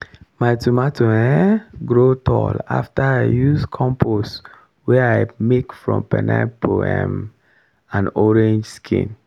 my tomato um grow tall after i use compost wey i make from pineapple um and orange skin.